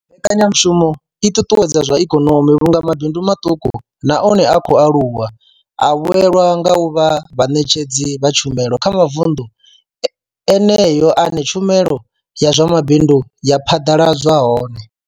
Mbekanyamushumo i ṱuṱuwedza zwa ikonomi vhunga mabindu maṱuku na one a khou aluwa a vhuelwa nga u vha vhaṋetshedzi vha tshumelo kha mavundu eneyo ane tshumelo ya zwa mabindu ya phaḓaladzwa hone.